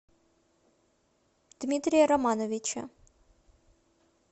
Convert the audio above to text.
дмитрия романовича